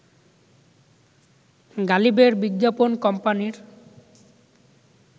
গালিবের বিজ্ঞাপন কোম্পানির